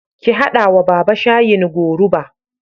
Ki haɗa wa Baba. shayin goruba